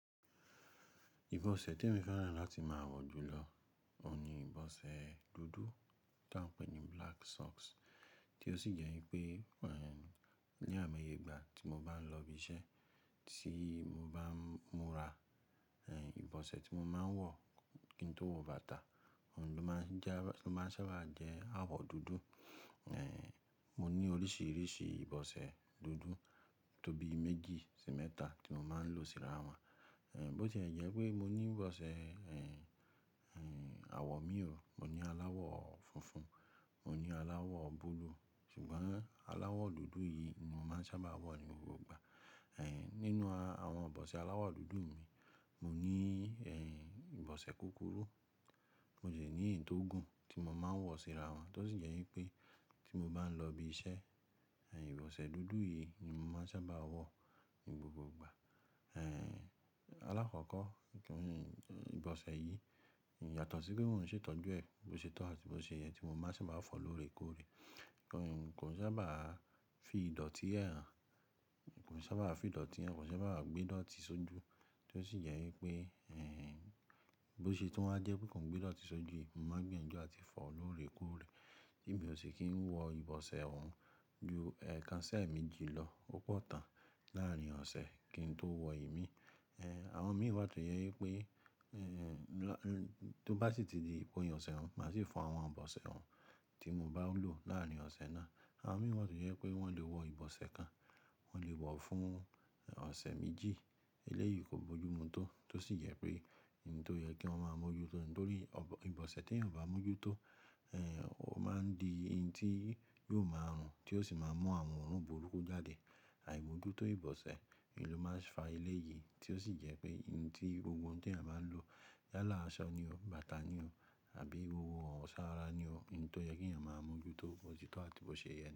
Ìbọ̀ṣẹ̀ tí emi fẹ́ràn láti máa wọ jù lọ, òun ni ìbọ̀ṣẹ̀ dúdú, ta n pè ní black socks, tí ó sì jẹ́ wípé, ní àìmọye ìgbà tí mo bá ń lọ ibi iṣẹ́, tí mo bá ń múra, ìbọ̀ṣẹ̀ tí mo máa ń wọ kí n tó wọ bàtà, òun ló máa ń jẹ́, ló máa ń sábà jẹ́ àwọ̀ dúdú. Mo ní oríṣìíríṣìí ìbọ̀ṣẹ̀ dúdú tó bí méjì sí mẹ́ta tí mo máa ń lò síra wọn. Bo ti e jẹ pé mo ní ìbọ̀ṣẹ̀ àwọ̀ míò, mo ní aláwọ̀ funfun, mo ní aláwọ̀ búlúù, ṣùgbọ́n aláwọ̀ dúdú yìí ni mo máa ń sábà wọ ní gbogbo ìgbà. Nínú àwọn ìbọ̀ṣẹ̀ aláwọ̀ dúdú mi, mo ní ìbọ̀ṣẹ̀ kúkúrú, mo de ní iyi tóògùn tí mo máa ń wọ síra wọn, tó sì jẹ́ wípé tí mo bá ń lọ ibi iṣẹ́, ìbọ̀ṣẹ̀ dúdú yìí ni mo máa ń sábà wọ ní gbogbo ìgbà. Alákọ̀ọ́kọ́, ìbọ̀ṣẹ̀ yìí yàtọ̀ sí pé mo n ṣe tọ́jú ẹ bí ó ṣe tọ́ àti bó ṣe yẹ tí mo bá sì máa fọ̀ lóore kóóre. Kò sábà fi ìdọ̀tí hàn, kò sábà fi ìdọ̀tí hàn, kò sábà gbé ìdọ̀tí sójú, tí ó sì jẹ́ wípé bó ṣe tún wá jẹ́ pé kò gbé ìdọ̀tí sójú, mo máa gbìyànjú àti fọ̀ lóore kóóre. Bí mo ṣe kì í wọ ìbọ̀ṣẹ̀ òun ju ekan sí ẹ̀ẹ̀meji lọ, ó pọ̀ tán láàárín ọ̀sẹ̀ kí n tó wọ i mí. Àwọn mi wà tó jẹ́ wípé tó bá sì ti di ipin oṣẹ́ ọ̀un, màá sì fọ àwọn ìbọ̀ṣẹ̀ òun tí mo bá lò láàárín ọ̀ṣẹ̀ náà. Àwọn mi wà tó jẹ́ pé wọ́n lè wọ ìbọ̀ṣẹ̀ kan, wọ́n lè wọ̀ fún ọ̀ṣẹ̀ méjì, eléyìí kò bójú mu tó, tó sì jẹ́ pé, ǹ tó yẹ kí wọ́n máa mo jú tó ni nítorí ìbọ̀ṣẹ̀ tí eeyan ò bá mọ́ jú tó, ó máa ń di n tí yóò máa rùn tí ó sì máa mú àwọn òórùn burúkú jáde. Àìmojútó ìbọ̀ṣẹ̀ ni ó máa ń fa eléyìí tí ó sì jẹ́ pé, n tí gbogbo t'eeyan bá ń lò yálà aṣọ ni o, bàtà ni o àbí ohun iwọ́ s'ara ni o, ǹ tó yẹ kí eeyan máa mo jú tó, bó ti tọ́ àti bó ṣe yẹ ni.